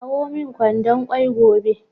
Kawo min kwandon kwai gobe